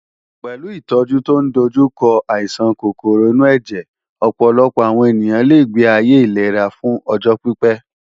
Pẹ̀lú ìtọ́jú tó ń dojú kọ àìsàn kòkòrò inú ẹ̀jẹ̀, ọ̀pọ̀lọpọ̀ àwọn ènìyàn lè gbé ayé ìlera fún ọjọ́ pípé.